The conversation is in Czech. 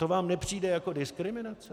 To vám nepřijde jako diskriminace?